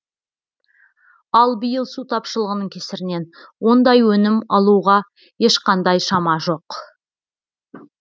ал биыл су тапшылығының кесірінен ондай өнім алуға ешқандай шама жоқ